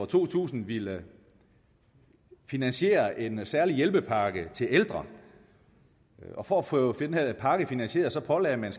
to tusind ville finansiere en særlig hjælpepakke til ældre og for at få den her pakke finansieret pålagde man